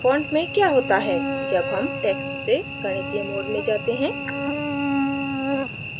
font में क्या होता है जब हम text से गणितीय mode में जाते हैं